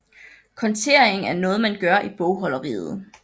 Kontering er noget man gør i bogholderiet